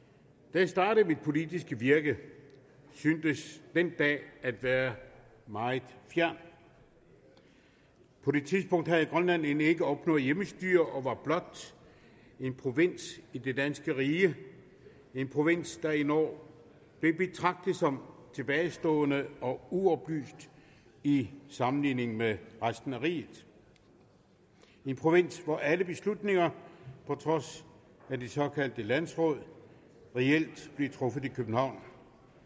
da jeg startede mit politiske virke syntes den dag at være meget fjern på det tidspunkt havde grønland end ikke opnået hjemmestyre og var blot en provins i det danske rige en provins der endog blev betragtet som tilbagestående og uoplyst i sammenligning med resten af riget en provins hvor alle beslutninger på trods af de såkaldte landsråd reelt blev truffet i københavn